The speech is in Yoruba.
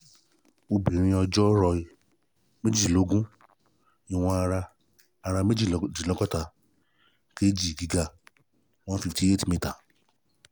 obìnrin ọjọ́ roí: méjìlélógún ìwọ̀n ara: ara: méjì dínlọ́gọ́ta kg gíga: one fifty eight meter